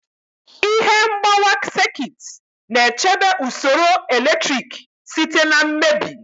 Ihe mgbawa sekit na-echebe usoro eletrik site na mmebi.